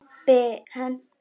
Kobbi henti steini í dyrnar.